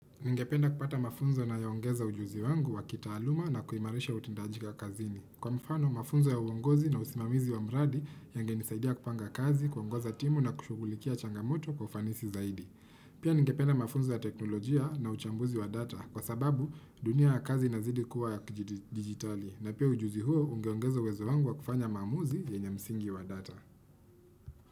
Ningependa kupata mafunzo yanayoongeza ujuzi wangu wa kitaaluma na kuimarisha utendaji ka kazini. Kwa mfano, mafunzo ya uongozi na usimamizi wa mradi, yagenisaidia kupanga kazi, kuongoza timu na kushughulikia changamoto kwa ufanisi zaidi. Pia, ningependa mafunzo ya teknolojia na uchambuzi wa data. Kwa sababu, dunia ya kazi inazidi kuwa ya kijidi digitali. Na pia ujuzi huo, ugeongeza uwezo wangu wa kufanya maamuzi yenye msingi wa data.